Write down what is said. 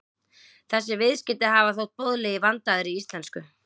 Þessi viðskeyti hafa ekki þótt boðleg í vandaðri íslensku.